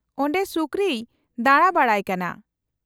-ᱚᱸᱰᱮ ᱥᱩᱠᱨᱤᱭ ᱫᱟᱬᱟ ᱵᱟᱲᱟᱭ ᱠᱟᱱᱟ ᱾